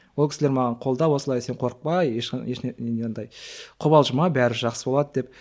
ол кісілер маған қолдап осылай сен қорықпа андай қобалжыма бәрі жақсы болады деп